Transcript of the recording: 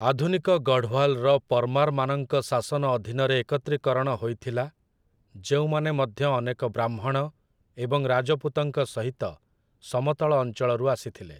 ଆଧୁନିକ ଗଢ଼ୱାଲ୍‌ର ପରମାର୍‌ମାନଙ୍କ ଶାସନ ଅଧୀନରେ ଏକତ୍ରୀକରଣ ହୋଇଥିଲା, ଯେଉଁମାନେ ମଧ୍ୟ ଅନେକ ବ୍ରାହ୍ମଣ ଏବଂ ରାଜପୁତଙ୍କ ସହିତ ସମତଳ ଅଞ୍ଚଳରୁ ଆସିଥିଲେ ।